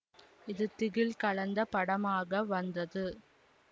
இது திகில் கலந்த படமாக வந்தது